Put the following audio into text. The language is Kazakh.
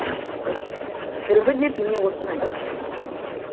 дүрбі деп міне осыны айт